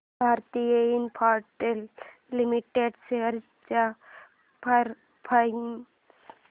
Bharti Infratel limited shares चा performance